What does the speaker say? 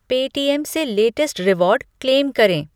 पे टीएम से latest reward claim करें ।